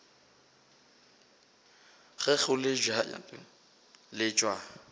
ge go le bjalo letšwa